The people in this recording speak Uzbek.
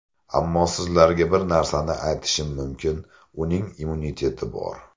Ammo sizlarga bir narsani aytishim mumkin, uning immuniteti bor.